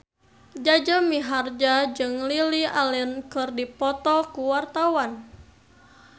Jaja Mihardja jeung Lily Allen keur dipoto ku wartawan